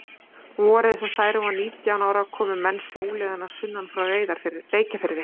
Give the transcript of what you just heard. Vorið sem Særún var nítján ára komu menn sjóleiðina sunnan frá Reykjafirði.